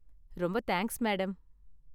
ரொம்ப thanks, madam.